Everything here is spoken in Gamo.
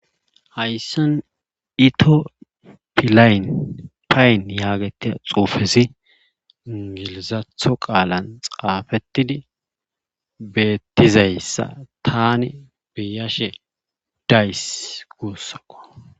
Hayssan ito pilayn payn yaagatia xuufesi ngilizatho qaalan xaafettidi beettizayssa tani beyashe days guussakko